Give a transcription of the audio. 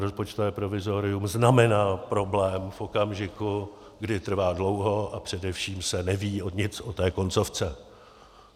Rozpočtové provizorium znamená problém v okamžiku, kdy trvá dlouho a především se neví nic o té koncovce.